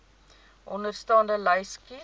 onderstaande lys kies